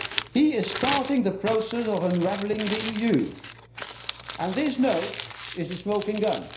He is starting the process of unravelling the EU and this note is a smoking gun.